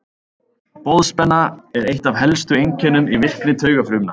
Boðspenna er eitt af helstu einkennum í virkni taugafrumna.